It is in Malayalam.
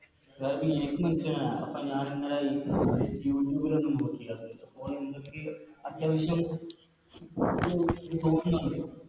അപ്പൊ ഞാനിന്നലെ Youtube ലൊന്ന് നോക്കി അതായത് ഓനെന്തൊക്കെയോ അത്യാവശ്യം